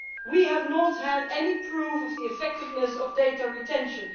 We have not had any proof of the effectiveness of data retention.